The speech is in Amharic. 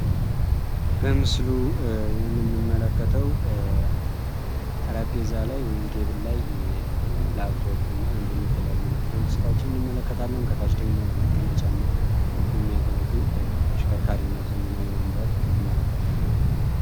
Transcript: በምስሉ የምንመለከተው ጠረጴዛ ወይም ቴብል ላይ ላፕቶፕ እና የተለያዩ የኤሌክትሮኒክስ እቃዎችን እንመለከታለን። ከታች ደግሞ ለመቀመጫነት የሚያገለግል ተሽከርካሪ እና ዘመናዊ ወንበር እንመለከታለን።